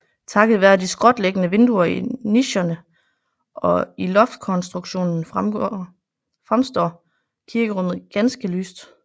Takket være de skråtliggende vinduer i nicherne og i loftkonstruktionen fremstår kirkerummet ganske lyst